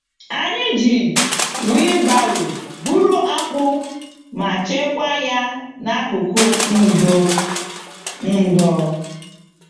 Anyị ji wheelbarrow buru akpụ ma chekwa ya n'akụkụ ndo. ndo.